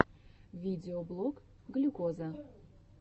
видеоблог глюкоза